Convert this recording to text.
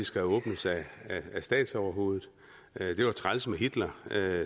skal åbnes af statsoverhovedet det var træls med hitler